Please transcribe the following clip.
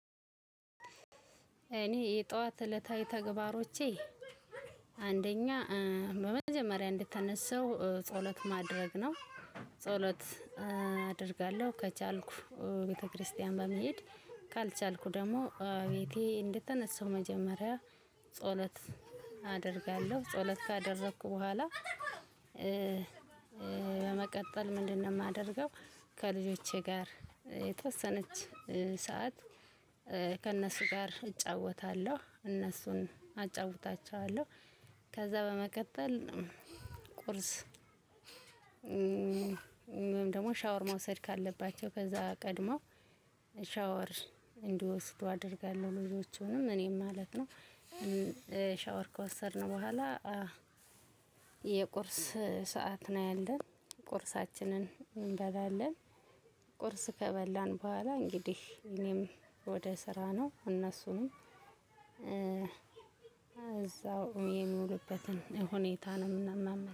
እኔ የጠዋት እለታዊ ተግባሮቼ? አንደኛ በመጀመሪያ እንደተነሳው ጸሎት ማድረግ ነው። ጸሎት አደርጋለሁ ከቻልኩ ቤተክርስቲያን በመሄድ፣ ካልቻልኩ ደግሞ ቤቴ እንድተነሳው መጀመሪያ ጸሎት አደርጋለሁ ጸሎት ካደረኩ በኋላ በመቀጠል ምንድነው የማደርገው ከልጆቼ ጋር የተወሰነች ሰዓት ከነሱ ጋር እጫወታለሁ፣ እነሱም አጫውታችዋለሁ፤ ከዛ በመቀጠል ቁርስ ደግሞ ሻወር መውሰድ ካለባቸው ከዛ ቀድሞ ሻወር እንዲወስዱ አደርጋለሁ ልጆቹንም እኔም ማለት ነው። ሻወር ከወሰድን በኋላ የቁርስ ሰዓት እናያለን፤ ቁርሳችንን እንበላለን ቁርስ ከበላን በኋላ እንግዲህ እኔም ወደ ስራ ነው እነሱንም እዛው የሚውልበትን ሁኔታ ነው የምናመ